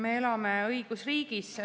Me elame õigusriigis.